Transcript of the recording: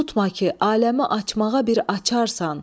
Unutma ki, aləmi açmağa bir açarsan.